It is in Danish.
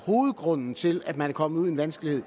hovedgrunden til at man er kommet i vanskeligheder